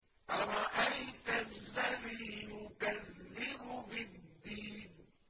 أَرَأَيْتَ الَّذِي يُكَذِّبُ بِالدِّينِ